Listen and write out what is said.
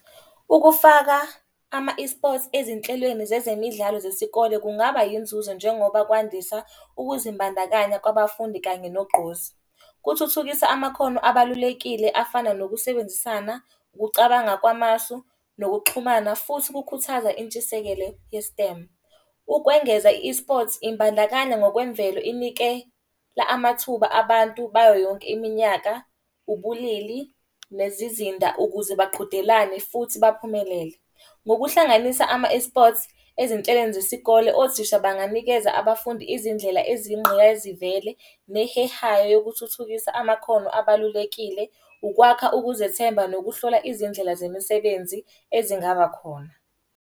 Ukufaka ama-eSports ezinhlelweni zezemidlalo zesikole kungaba yinzuzo njengoba kwandisa ukuzimbandakanya kwabafundi kanye nogqozi. Kuthuthukisa amakhono abalulekile afana nokusebenzisana, ukucabanga kwamasu, nokuxhumana futhi kukhuthaza intshisekelo ye-Stem. Ukwengeza i-eSports imbandakanya ngokwemvelo inike amathuba abantu bayo yonke iminyaka, ubulili, nezizinda, ukuze baqhudelane futhi baphumelele. Ngokuhlanganisa ama-eSports ezinhlelweni zesikole othisha banganikeza abafundi izindlela eziyingqayizivele nehehayo yokuthuthukisa amakhono abalulekile, ukwakha ukuzethemba nokuhlola izindlela zemisebenzi ezingaba khona.